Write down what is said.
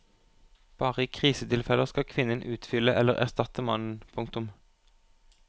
Bare i krisetilfeller skal kvinnen utfylle eller erstatte mannen. punktum